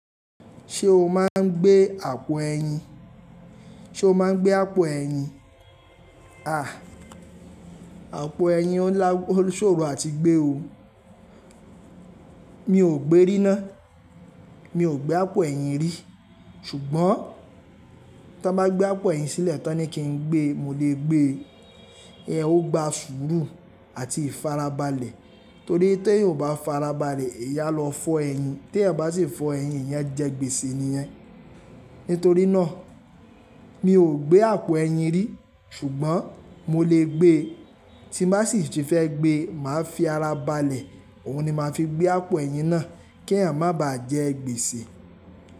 Ṣé o máa ń gbé àpò ẹ̀yin? Sé o máa ń gbé àpò ẹ̀yin? À, àpò ẹ̀yin ló ṣòro àti gbé o. Mi ò gbé ríná, mi ò gbé àpò ẹ̀yin rí. Ṣùgbọ́n tí wọ́n bá gbé àpò ẹ̀yin sílẹ̀ tán ní kí n gbé, mo lè gbé. Ẹ ó gba sùúrù àti ìfarabalẹ̀. Torí tí ẹ ò bá farabalẹ̀, èèyà lọ fọ́ ẹ̀yin. Tí ẹ bá sì fọ́ ẹ̀yin, ẹ̀yin jẹ́ gbèsè nìyẹn. Nítorí náà, mi ò gbé àpò ẹ̀yin rí. Ṣùgbọ́n mo lè gbé. Tí bá sì ti fẹ́ gbé, màá fi ara balẹ̀. Òhun ni màá fi gbé àpò ẹ̀yin náà kí ẹ̀yin má bàá jẹ́ gbèsè.